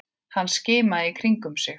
Hann skimaði í kringum sig.